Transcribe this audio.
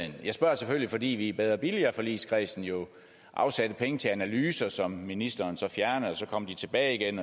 jeg spørger selvfølgelig fordi vi i bedre og billigere forligskredsen jo afsatte penge til analyser som ministeren så fjernede så kom de tilbage igen